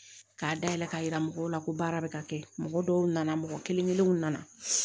K'a dayɛlɛ k'a yira mɔgɔw la ko baara bɛ ka kɛ mɔgɔ dɔw nana mɔgɔ kelen kelenw nana